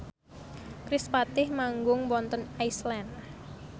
kerispatih manggung wonten Iceland